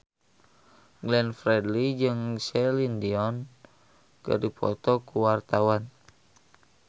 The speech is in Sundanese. Glenn Fredly jeung Celine Dion keur dipoto ku wartawan